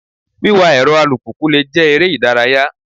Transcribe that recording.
Wíwà èrọ alùpùpù le jẹ́ eré ìdárayá.